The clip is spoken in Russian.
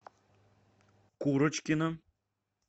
курочкина